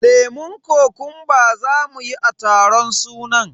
lemun kokumba zamu yi a taron sunan.